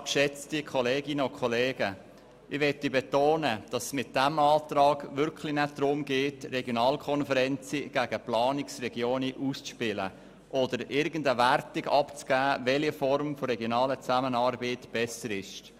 Ich möchte betonen, dass es in dieser Planungserklärung wirklich nicht darum geht, Regionalkonferenzen gegen Planungsregionen auszuspielen oder irgendeine Wertung darüber abzugeben, welche Form der regionalen Zusammenarbeit besser ist.